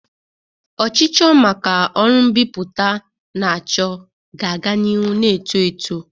Ọchịchọ maka ọrụ mbipụta na-achọ ga-aga n'ihu na-eto eto.